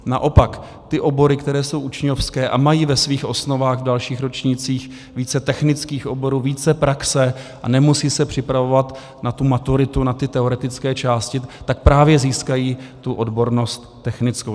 Naopak, ty obory, které jsou učňovské a mají ve svých osnovách v dalších ročnících více technických oborů, více praxe a nemusí se připravovat na tu maturitu, na ty teoretické části, tak právě získají tu odbornost technickou.